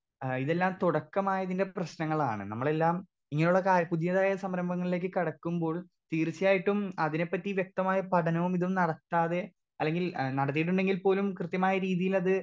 Speaker 2 ഏ ഇതെല്ലം തുടക്കമായതിന്റെ പ്രശ്നങ്ങളാണ് നമ്മളെല്ലാം ഇങ്ങനെയുള്ള കാ പുതിയ സംരംഭങ്ങളിലേക്ക് കടക്കുമ്പോൾ തീർച്ചയായിട്ടും അതിനെ പറ്റി വ്യക്തമായ പഠനവും ഇതും നടത്താതെ അല്ലെങ്കിൽ ആ നടത്തീട്ടുണ്ടെങ്കിൽ പോലും കൃത്യമായ രീതീലത്.